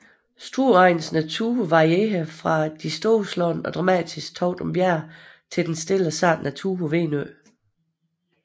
Strueregnens natur varierer fra de storslåede og dramatiske Toftum Bjerge til den stille og sarte natur på Venø